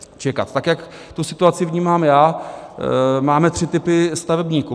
Tak jak tu situaci vnímám já, máme tři typy stavebníků.